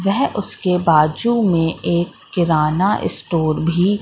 यह उसके बाजू मे एक किराना स्टोर भी--